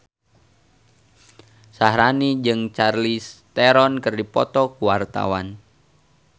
Syaharani jeung Charlize Theron keur dipoto ku wartawan